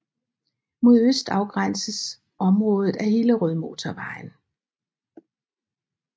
Mod øst afgrænses området af Hillerødmotorvejen